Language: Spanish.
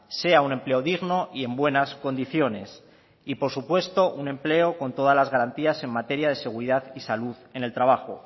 sea un empleo digno y en buenas condiciones y por supuesto un empleo con todas las garantías en materia de seguridad y salud en el trabajo